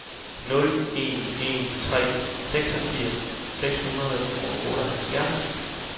nul en en tre seksogfirs seks hundrede og otteoghalvfjerds